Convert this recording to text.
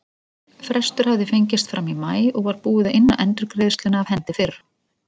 Frestur hafði fengist fram í maí og var búið að inna endurgreiðsluna af hendi fyrr.